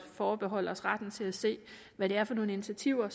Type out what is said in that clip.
forbeholde os retten til at se hvad det er for nogle initiativer